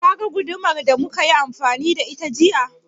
Ka ga gudumar da muka yi amfani da ita jiya?